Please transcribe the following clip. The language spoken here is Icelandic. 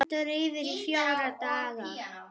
Stendur yfir í fjóra daga.